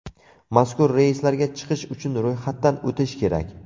Mazkur reyslarga chiqish uchun ro‘yxatdan o‘tish kerak.